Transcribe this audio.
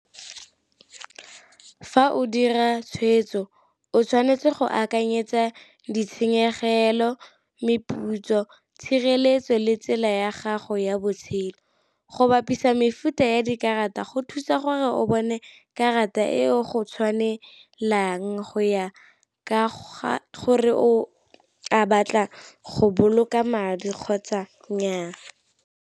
Fa o dira tshwetso o tshwanetse go akanyetsa ditshenyegelo, meputso, tshireletso le tsela ya gago ya botshelo. Go bapisa mefuta ya dikarata go thusa gore o bone karata e o go tshwanelang go ya ka gore o a batla go boloka madi kgotsa nnyaa.